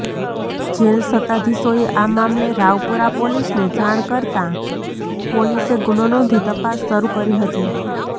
jail સત્તાધીશોએ આ મામલે રાવપુરા પોલીસને જાણ કરતાં પોલીસે ગુનો નોંધી તપાસ શરુ કરી હતી